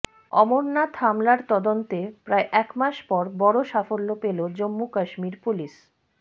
অমরনাথ হামলার তদন্তে প্রায় একমাস পর বড় সাফল্য পেল জম্মু কাশ্মীর পুলিস